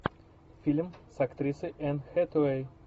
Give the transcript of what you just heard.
фильм с актрисой энн хэтэуэй